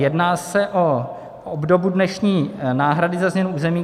Jedná se o obdobu dnešní náhrady za změnu území.